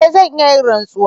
E! zan iya yin rantsuwa.